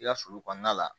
I ka sulu kɔnɔna la